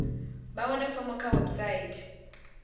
vha wane fomo kha website